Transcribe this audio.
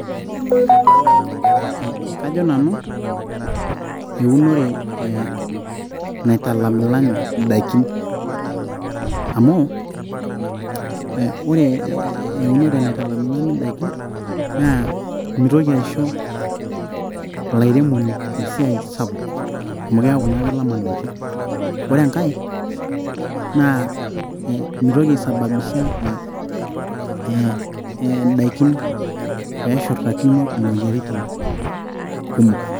Kaji Nanu eunore naitalamilami edaikin, amu ore eunore naitalamilami edaikin naa meintoki aisho olairemoni esiai sapuk amu keaku naa kelama endaiki, ore enkae naa meitoki aisababisha endaiki pee eshurrtakino emoyiaritin kumok.